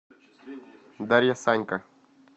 дарья санько